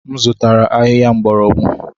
M zụtara ahịhịa mgbọrọgwụ.